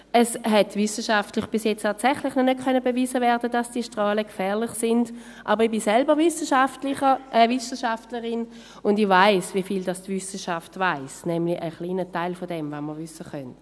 Es konnte bis jetzt tatsächlich noch nicht wissenschaftlich bewiesen werden, dass diese Strahlen gefährlich sind, aber ich bin selbst Wissenschaftlerin und ich weiss, wie viel die Wissenschaft weiss, nämlich einen kleinen Teil dessen, was wir wissen können.